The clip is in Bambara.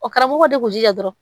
O karamɔgɔw de kun jija dɔrɔn